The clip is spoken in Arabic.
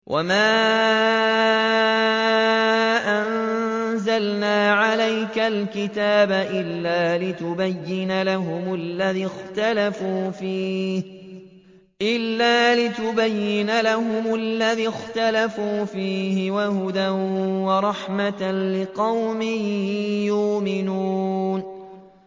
وَمَا أَنزَلْنَا عَلَيْكَ الْكِتَابَ إِلَّا لِتُبَيِّنَ لَهُمُ الَّذِي اخْتَلَفُوا فِيهِ ۙ وَهُدًى وَرَحْمَةً لِّقَوْمٍ يُؤْمِنُونَ